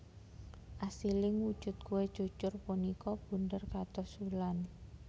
Asiling wujud kué cucur punika bunder kados wulan